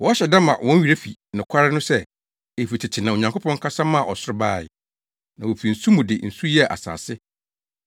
Wɔhyɛ da ma wɔn werɛ fi nokware no sɛ, efi tete na Onyankopɔn kasa maa ɔsoro bae, na wofi nsu mu de nsu yɛɛ asase.